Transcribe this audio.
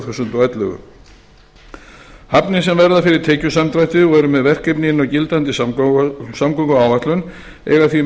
þúsund og ellefu hafnir sem verða fyrir tekjusamdrætti og eru með verkefni inni á gildandi samgönguáætlun eiga því